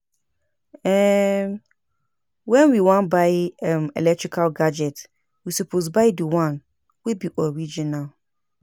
um When we wan buy um electrical gadgets we suppose buy di one wey be original